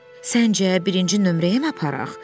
Səncə, birinci nömrəyəmi aparaq?